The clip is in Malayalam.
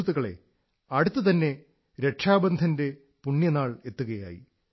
സുഹൃത്തുക്കളേ അടുത്തുതന്നെ രക്ഷാബന്ധന്റെ പുണ്യനാൾ എത്തുകയായി